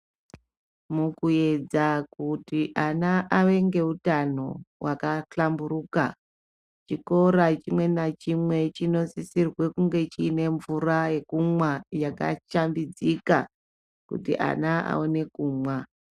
Mukuedza kuti ana ave ngewutano wakahlamburuka, chikora chimwe nachimwe, chinosissirwe kunge chiyinemvura yekumwa yakachambidzika kuti ana awane kumwa.